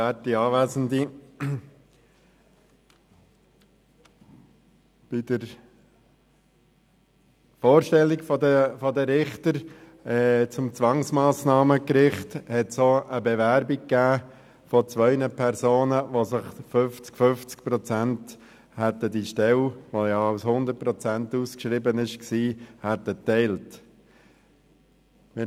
Bei der Vorstellung der Richter für das Zwangsmassnahmengericht gab es auch eine Bewerbung von zwei Personen, die sich diese Stelle, die ja mit 100 Prozent ausgeschrieben war, gerne im Verhältnis von 50 zu 50 Prozent, geteilt hätten.